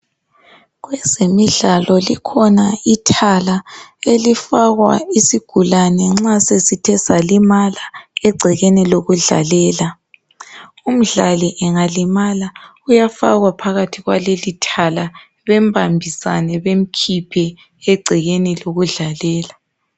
Kwezemidlalo likhona ithala elifakwa isigulane nxa sesithe salimala egcekeni lokudlalela umdlali engalimala uyafakwa phakathi kwaleli thala bembambisane bemkhiphe egcekeni lokudlalela.